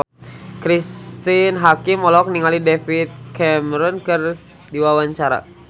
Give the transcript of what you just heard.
Cristine Hakim olohok ningali David Cameron keur diwawancara